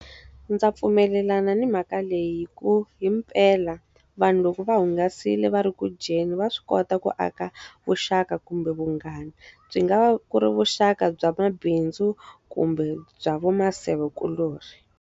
Ndzi pfumelelana ni mhaka leyi hikuva himpela, vanhu loko va hungasile va ri ku dyeni, va swi kota ku aka vuxaka kumbe vunghana. Byi nga va ku ri vuxaka bya mabindzu kumbe bya va masevekuloni.